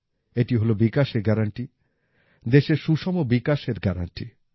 এটি হল বিকাশের গ্যারান্টি দেশের সুষম বিকাশের গ্যারান্টি